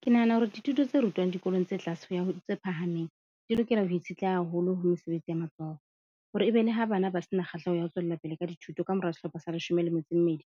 Ke nahana hore dithuto tse rutwang dikolong tse tlase ho ya ho tse phahameng di lokela ho itshetleha haholo ho mesebetsi ya matsoho, hore ebe le ha bana ba se na kgahleho ya ho tswella pele ka dithuto ka mora sehlopha sa leshome le metso e mmedi.